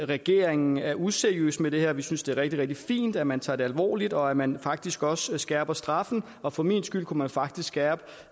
regeringen er useriøs med det her vi synes det er rigtig rigtig fint at man tager det alvorligt og at man faktisk også skærper straffen og for min skyld kunne man faktisk skærpe